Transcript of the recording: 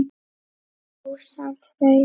Rósant Freyr.